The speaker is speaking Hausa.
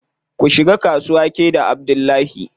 Ku shiga kasuwa ke da Abdullahi.